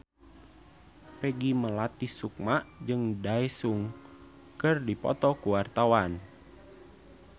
Peggy Melati Sukma jeung Daesung keur dipoto ku wartawan